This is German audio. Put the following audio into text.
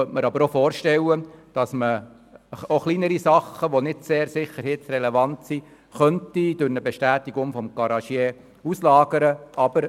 Ich könnte mir aber auch vorstellen, dass man kleinere Sachen, die nicht sehr sicherheitsrelevant sind, durch eine Bestätigung des Garagisten auslagern könnte.